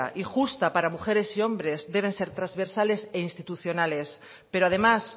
y justa para mujeres y hombres deben ser transversales e institucionales pero además